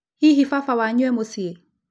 Hihi baba wanyu e mũciĩ ?